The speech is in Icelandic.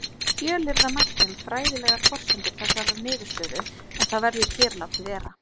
Fjölyrða mætti um fræðilegar forsendur þessarar niðurstöðu en það verður hér látið vera.